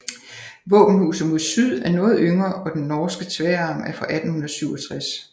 Våbenhuset mod syd er noget yngre og den nordre tværarm er fra 1867